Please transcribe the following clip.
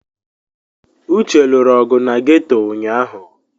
Uche lụrụ ọgụ na ghetọ ụnyahụ.